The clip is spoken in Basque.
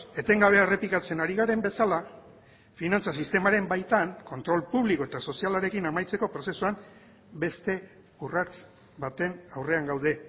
etengabe errepikatzen ari garen bezala finantza sistemaren baitan kontrol publiko eta sozialarekin amaitzeko prozesuan beste urrats baten aurrean gaude